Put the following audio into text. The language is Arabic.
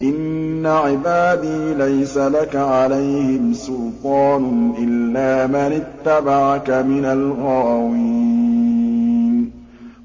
إِنَّ عِبَادِي لَيْسَ لَكَ عَلَيْهِمْ سُلْطَانٌ إِلَّا مَنِ اتَّبَعَكَ مِنَ الْغَاوِينَ